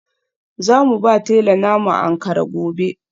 Za mu ba tela na mu Ankara gobe.